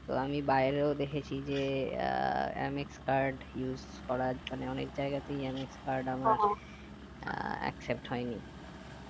তো আমি বাইরেও দেখেছি যে আহ mx card use করার মানে অনেক জায়গাতেই mx card আমার except হয়নি